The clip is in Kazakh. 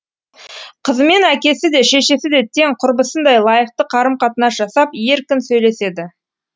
қызымен әкесі де шешесі де тең құрбысындай лайықты қарым қатынас жасап еркін сөйлеседі